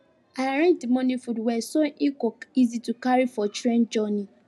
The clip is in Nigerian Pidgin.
i arrange the morning food well so e go easy to carry for train journey